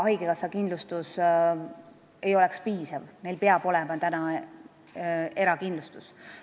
Haigekassa kindlustusest seega ei piisaks, neil peab olema erakindlustus.